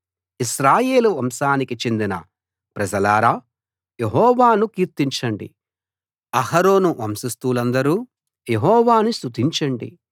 ఇశ్రాయేలు వంశానికి చెందిన ప్రజలారా యెహోవాను కీర్తించండి అహరోను వంశస్థులందరూ యెహోవాను స్తుతించండి